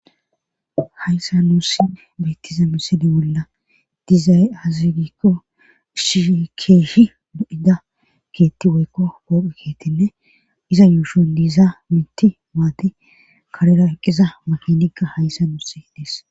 hayssa nuussi beyttiza misidi bolla diizay hazigikko ishikeeshi mu7ida keetti woykko pooqe keettinne iza yuushun diiza mitti maati karera eqqiza makinikka hayssa nuusi dees